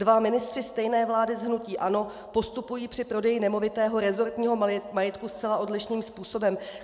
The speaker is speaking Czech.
Dva ministři stejné vlády z hnutí ANO postupují při prodeji nemovitého resortního majetku zcela odlišným způsobem.